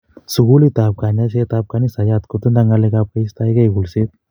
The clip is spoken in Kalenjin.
Sugulit ap kanyaiset ap kansayat kotindoi ng'alek ap keistoekei kulset